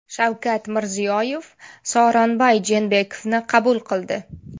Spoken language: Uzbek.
Shavkat Mirziyoyev Sooronbay Jeenbekovni qabul qildi.